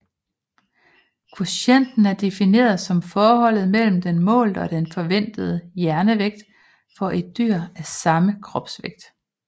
Kvotienten er defineret som forholdet mellem den målte og den forventede hjernevægt for et dyr af samme kropsvægt